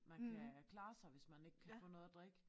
Man kan klare sig hvis man ikke kan få noget at drikke